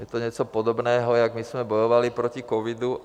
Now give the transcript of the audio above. Je to něco podobného, jako my jsme bojovali proti covidu.